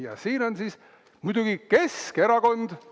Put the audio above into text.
Ja siin on siis muidugi Keskerakond.